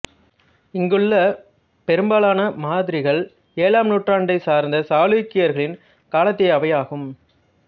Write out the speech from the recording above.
இங்குள்ள பெரும்பாலான மாதிரிகள் ஏழாம் நூற்றாண்டைச் சார்ந்த சாளுக்கியர்களின் காலத்தியவையாகும்